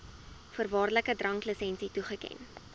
voorwaardelike dranklisensie toeken